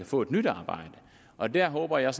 få et nyt arbejde og der håber jeg